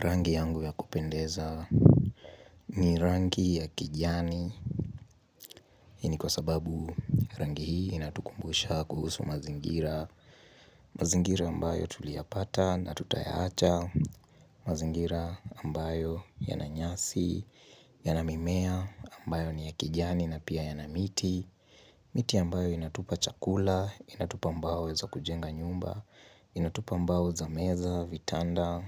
Rangi yangu ya kupendeza ni rangi ya kijani, hii ni kwa sababu rangi hii inatukumbusha kuhusu mazingira mazingira ambayo tulia pata na tutayacha, mazingira ambayo yana nyasi, yana mimea ambayo ni ya kijani na pia yana miti miti ambayo inatupa chakula, inatupa mbao za kujenga nyumba, inatupa mbao za meza, vitanda,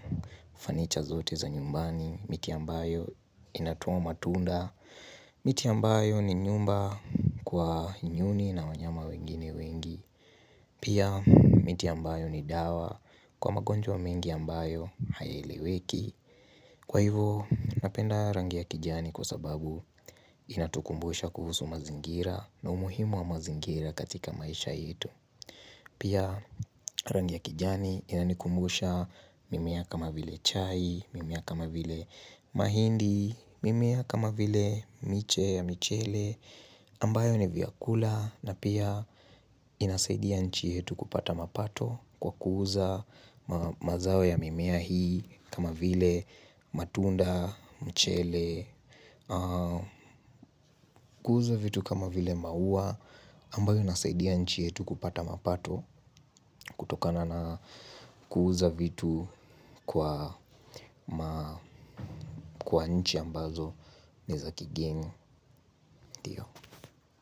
fanicha zote za nyumbani miti ambayo inatuoma tunda miti ambayo ni nyumba kwa nyuni na wanyama wengine wengi pia miti ambayo ni dawa kwa magonjwa mengi ambayo hayaileweki kwa hivo napenda rangi ya kijani kwa sababu inatukumbusha kuhusu mazingira na umuhimu wa mazingira katika maisha yetu pia rangi ya kijani inanikumbusha mimia kama vile chai mimea kama vile mahindi, mimea kama vile miche ya michele ambayo ni vyakula na pia inasaidia nchi yetu kupata mapato kwa kuza mazao ya mimea hii kama vile matunda, michele, miti ambayo inatupa chakula, inatupa mbao za kujenga nyumba, inatupa mbao za meza, vitanda, fanicha zote za nyumbani miti ambayo inatuoma tunda miti ambayo ni nyumba kwa nyuni na wanyama wengine wengi pia miti ambayo ni dawa kwa magonjwa mengi ambayo hayaileweki kwa hivo napenda rangi ya kijani kwa sababu inatukumbusha kuhusu mazingira na umuhimu wa mazingira katika maisha yetu pia rangi ya kijani inanikumbusha mimiaka mavile chai mimea kama vile mahindi, mimea kama vile miche ya michele.